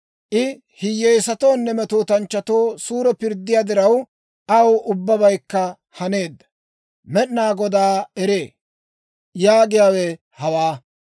I hiyyeesatoonne metootanchchatoo suure pirddiyaa diraw, aw ubbabaykka haneedda. Med'inaa Godaa eree yaagiyaawe hawaa.